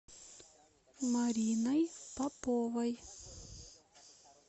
мариной поповой